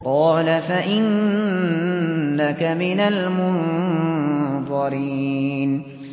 قَالَ فَإِنَّكَ مِنَ الْمُنظَرِينَ